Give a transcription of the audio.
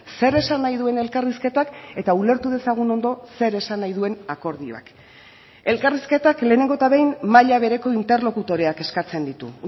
zer esan nahi duen elkarrizketak eta ulertu dezagun ondo zer esan nahi duen akordioak elkarrizketak lehenengo eta behin maila bereko interlokutoreak eskatzen ditu